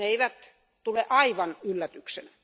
Ne eivät tule aivan yllätyksenä.